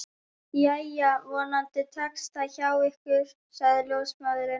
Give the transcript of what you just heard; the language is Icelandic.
Jæja, vonandi tekst það hjá ykkur sagði ljósmóðirin.